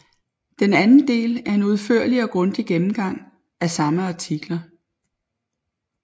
Den anden del er en udførlig og grundig gennemgang af de samme artikler